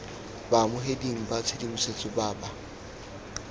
baamogeding ba tshedimosetso ba ba